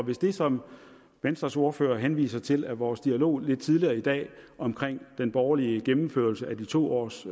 hvis det som venstres ordfører henviser til er vores dialog lidt tidligere i dag om den borgerlige gennemførelse af de to års